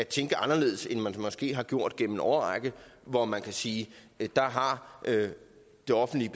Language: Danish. tænke anderledes end man måske har gjort igennem en årrække hvor man kan sige at det offentlige